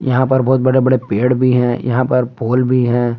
यहां पर बहुत बड़े बड़े पेड़ भी हैं यहां पर पोल भी हैं।